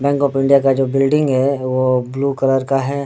Bank of India जो building है वो ब्लू कलर का है।